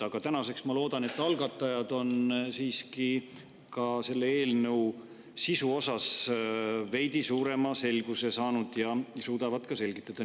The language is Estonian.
Aga tänaseks, ma loodan, on algatajad siiski ka eelnõu sisu osas veidi suurema selguse saanud ja suudavad seda ka selgitada.